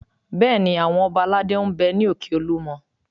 Bẹ́ẹ̀ni, àwọn ọba aládé ń bẹ ní òkè Olúmọ